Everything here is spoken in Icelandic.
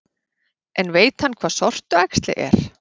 En veit hann hvað sortuæxli er?